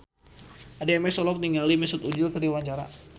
Addie MS olohok ningali Mesut Ozil keur diwawancara